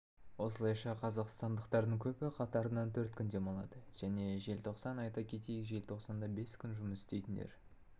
осылайша қазақстандықтардың көбі қатарынан төрт күн демалады және желтоқсан айта кетейік желтоқсанда бес күн жұмыс істейтіндер